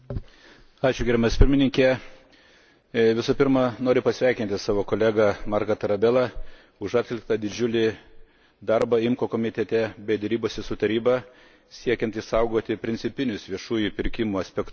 Visų pirma noriu pasveikinti savo kolegą Marcą Tarabellą už atliktą didžiulį darbą IMCO komitete bei derybose su Taryba siekiant išsaugoti principinius viešųjų pirkimų aspektus, kuriems buvo pritarta ITRE komitete.